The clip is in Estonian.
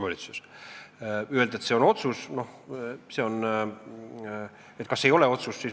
Kas see ei ole otsus?